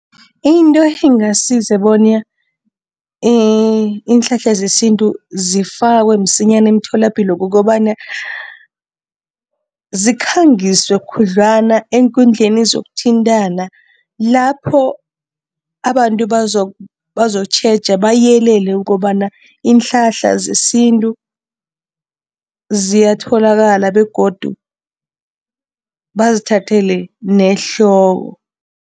Into engasiza bona iinhlahla zesintu zifakwe msinyana imitholapilo kukobana, zikhangiswe khudlwana eenkundleni zokuthintana lapho abantu bazokutjheja, bayelele ukobana iinhlahla zesintu ziyatholakala begodu bazithathele nehloko.